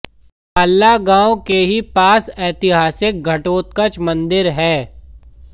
बाल्ला गांव के ही पास ऐतिहासिक घटोत्कच मंदिर है